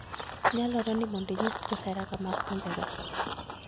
Nyalore ni mondo inyis johera mag thumbe ga